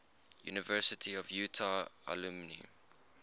university of utah alumni